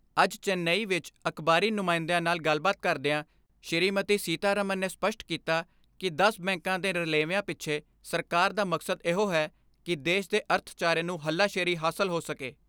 ਅੱਜ ਚੇਨਈ ਵਿੱਚ ਅਕਬਾਰੀ ਨੁਮਾਇੰਦਿਆਂ ਨਾਲ਼ ਗੱਲਬਾਤ ਕਰਦਿਆਂ ਸ਼੍ਰੀਮਤੀ ਸੀਤਾਰਮਨ ਨੇ ਸਪਸ਼ਟ ਕੀਤਾ ਕਿ ਦਸ ਬੈਂਕਾਂ ਦੇ ਰਲੇਵੇਆਂ ਪਿੱਛੇ ਸਰਕਾਰ ਦਾ ਮਕਸਦ ਇਹੋ ਹੈ ਕਿ ਦੇਸ਼ ਦੇ ਅਰਥਚਾਰੇ ਨੂੰ ਹੱਲਾ ਸ਼ੇਰੀ ਹਾਸਲ ਹੋ ਸਕੇ।